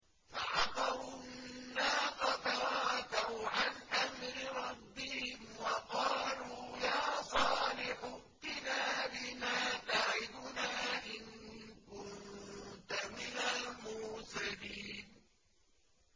فَعَقَرُوا النَّاقَةَ وَعَتَوْا عَنْ أَمْرِ رَبِّهِمْ وَقَالُوا يَا صَالِحُ ائْتِنَا بِمَا تَعِدُنَا إِن كُنتَ مِنَ الْمُرْسَلِينَ